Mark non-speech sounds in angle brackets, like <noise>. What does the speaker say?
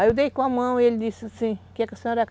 Aí eu dei com a mão e ele disse assim, quer que a senhora? <unintelligible>